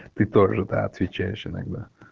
ты тоже да отвечаешь иногда